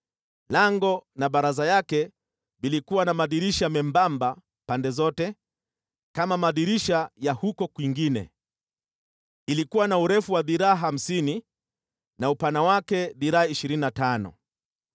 Lango na baraza yake vilikuwa na madirisha membamba pande zote, kama madirisha ya huko kwingine. Ilikuwa na urefu wa dhiraa hamsini na upana wake dhiraa ishirini na tano.